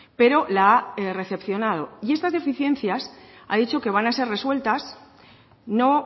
pero la ha recepcionado y estas deficiencias ha dicho que van a ser resueltas no